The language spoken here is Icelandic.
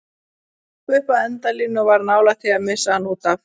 Hann hljóp upp að endalínu og var nálægt því að missa hann útaf.